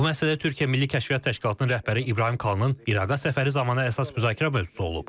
Bu məsələ Türkiyə Milli Kəşfiyyat təşkilatının rəhbəri İbrahim Kalının İraqa səfəri zamanı əsas müzakirə mövzusu olub.